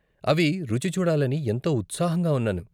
అవి రుచి చూడాలని ఎంతో ఉత్సాహంగా ఉన్నాను.